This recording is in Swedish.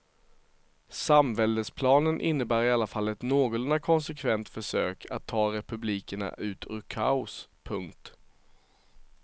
Samväldesplanen innebär i alla fall ett någorlunda konsekvent försök att ta republikerna ut ur kaos. punkt